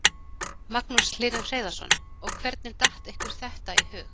Magnús Hlynur Hreiðarsson: Og hvernig datt ykkur þetta í hug?